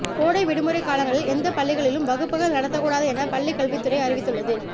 கோடை விடுமுறை காலங்களில் எந்த பள்ளிகளிலும் வகுப்புகள் நடத்தக்கூடாது என பள்ளி கல்வித்துறை அறிவித்துள்ளது